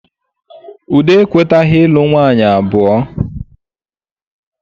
Udo ekwetaghi ịlụ umunwanyị abụọ